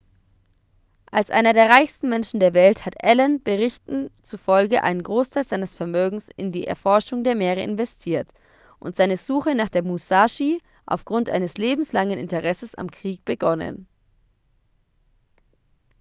als einer der reichsten menschen der welt hat allen berichten zufolge einen großteil seines vermögens in die erforschung der meere investiert und seine suche nach der musashi aufgrund eines lebenslangen interesses am krieg begonnen